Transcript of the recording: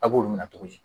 A b'olu minɛ cogo di